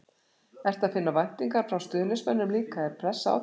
Ertu að finna væntingar frá stuðningsmönnum líka, er pressa á þér?